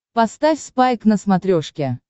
поставь спайк на смотрешке